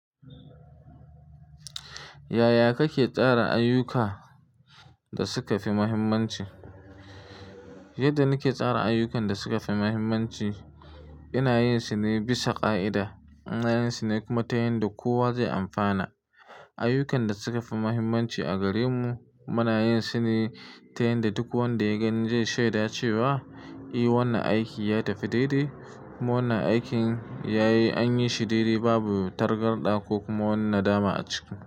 Yaya kake tsara ayyuka da suka fi muhimmanci? Yadda nake tsara ayyukan da suka fi muhimmanci, ina yin su ne bisa ƙa'ida. Ina yin su ne kuma ta yanda kowa zai amfana. Ayyukan da suka fi muhimmanci a gare mu, muna yin su ne ta yanda duk wanda ya gani zai shaida cewa, "Eh, wannan aiki ya tafi daidai, kuma wannan aikin ya yi an yi shi daidai babu targada ko kuma wannan dama a ciki."